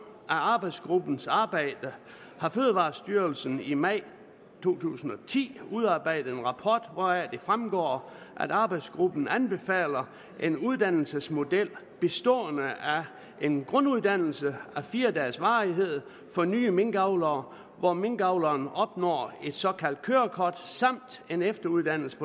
af arbejdsgruppens arbejde har fødevarestyrelsen i maj to tusind og ti udarbejdet en rapport hvoraf det fremgår at arbejdsgruppen anbefaler en uddannelsesmodel bestående af en grunduddannelse af fire dages varighed for nye minkavlere hvor minkavleren opnår et såkaldt kørekort samt en efteruddannelse